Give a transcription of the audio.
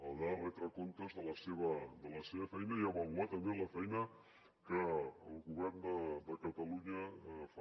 haurà de retre comptes de la seva feina i avaluar també la feina que el govern de catalunya fa